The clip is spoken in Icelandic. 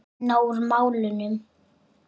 Að vinna úr málunum?